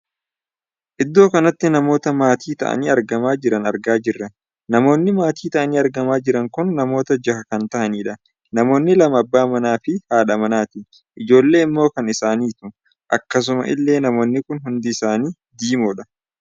Iddoo kanatti namoota maatii taa'anii argamaa jiran argaa jirra. namoonni maatii taa'anii argamaa jiran kun namoota jaha kan tahanidha. namoonni lama abbaa manaa fi haadha manaati. ijoollee immoo kan isaaniitu. akkasuma illee namoonni kun hundi isaanii diimoodha.